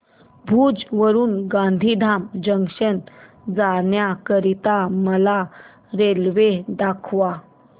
भुज वरून गांधीधाम जंक्शन जाण्या करीता मला रेल्वे दाखवा